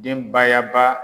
Denbayaba